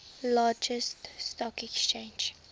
largest stock exchange